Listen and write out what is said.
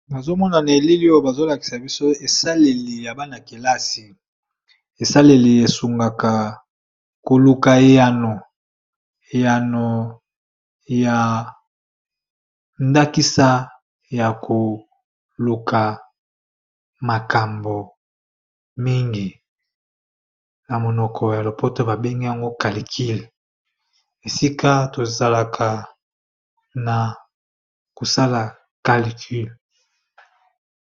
Nazo mona na elili oyo bazola kisa biso esaleli ya bana kelasi esaleli esungaka koluka eyano eyano ya ndakisa ya koluka makambo mingi ya monoko ya lopoto babenge yango calcule esika tozalaka na kosala calcule.